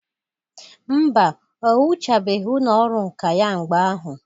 Mba, o wuchabeghi ụlọ ọrụ nka ya mgbe ahụ.